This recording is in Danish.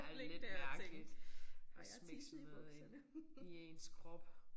Ja lidt mærkeligt at smække sådan noget ind i ens krop